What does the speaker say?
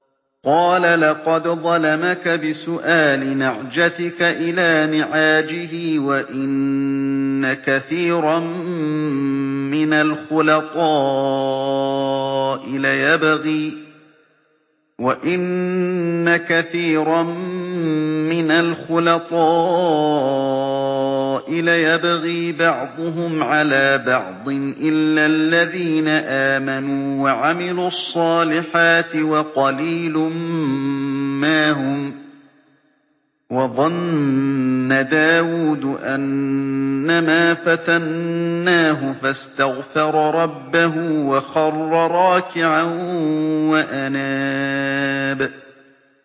قَالَ لَقَدْ ظَلَمَكَ بِسُؤَالِ نَعْجَتِكَ إِلَىٰ نِعَاجِهِ ۖ وَإِنَّ كَثِيرًا مِّنَ الْخُلَطَاءِ لَيَبْغِي بَعْضُهُمْ عَلَىٰ بَعْضٍ إِلَّا الَّذِينَ آمَنُوا وَعَمِلُوا الصَّالِحَاتِ وَقَلِيلٌ مَّا هُمْ ۗ وَظَنَّ دَاوُودُ أَنَّمَا فَتَنَّاهُ فَاسْتَغْفَرَ رَبَّهُ وَخَرَّ رَاكِعًا وَأَنَابَ ۩